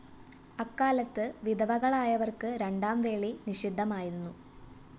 അക്കാലത്ത് വിധവകളായവര്‍ക്ക് രണ്ടാം വേളി നിഷിദ്ധമായിരുന്നു